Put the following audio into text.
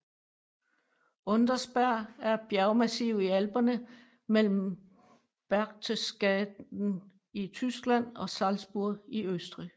Untersberg er et bjergmassiv i Alperne mellem Berchtesgaden i Tyskland og Salzburg i Østrig